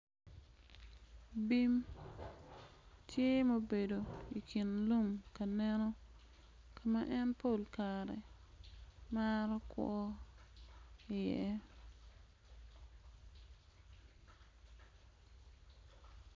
Bim tye ma obedo ikin lum ka neno ka ma en pol kare maro kwo iye.